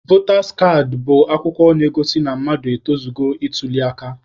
Votas kaadị bụ akwụkwọ na-egosi na mmadụ etozugo ịtuli aka.